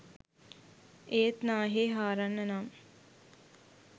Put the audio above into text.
ඒත් නාහේ හාරන්න නම්